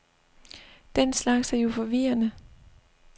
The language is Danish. Den slags er jo forvirrende.